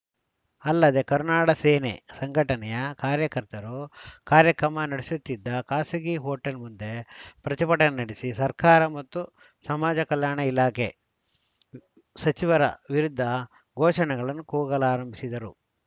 ಅಲ್ಲದೆ ಕರುನಾಡ ಸೇನೆ ಸಂಘಟನೆಯ ಕಾರ್ಯಕರ್ತರು ಕಾರ್ಯಕ್ರಮ ನಡೆಸು ತ್ತಿದ್ದ ಖಾಸಗಿ ಹೋಟೆಲ್‌ ಮುಂದೆ ಪ್ರತಿಭಟನೆ ನಡೆಸಿ ಸರ್ಕಾರ ಮತ್ತು ಸಮಾಜ ಕಲ್ಯಾಣ ಇಲಾಖೆ ಸಚಿವರ ವಿರುದ್ಧ ಘೋಷಣೆಗಳನ್ನು ಕೂಗಲಾರಂಭಿಸಿದರು